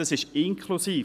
Das ist inklusive;